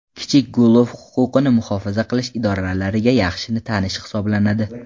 Kichik Gulov huquqni muhofaza qilish idorlariga yaxshi tanish hisoblanadi.